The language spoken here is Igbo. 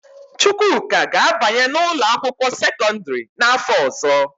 Chukwuka ga-abanye n'ụlọakwụkwọ sekọndịrị n'afọ ọzọ